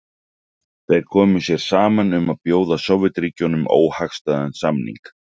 þeir komu sér saman um að bjóða sovétríkjunum óhagstæðan samning